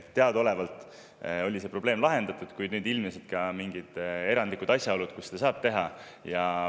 Teadaolevalt oli see probleem lahendatud, kuid ilmnesid mingid erandlikud asjaolud, mis juhul seda saab teha.